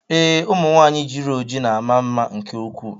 Ee, ụmụ nwanyị jiri ojiji na ama mma nke ukwuu.